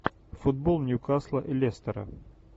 футбол ньюкасла и лестера